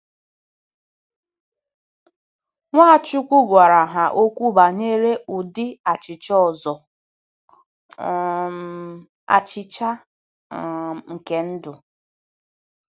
Nwachukwu gwara ha okwu banyere ụdị achịcha ọzọ - um “achịcha um nke ndụ.”